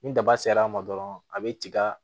Ni daba sera a ma dɔrɔn a bɛ tiga